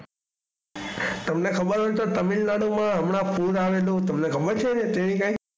તમને ખબર હોય તો તામિલનાડુ માં હમણાં પૂર આવેલું જે તમને ખબર છે.